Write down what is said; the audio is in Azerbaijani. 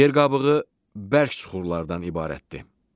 Yer qabığı bərk süxurlardan ibarətdir.